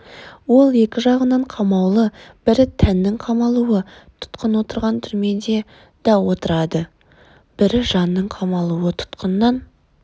ол екі жағынан қамаулы бірі тәннің қамалуы тұтқын отырған түрмеде да отырады бірі жанның қамалуы тұтқыннан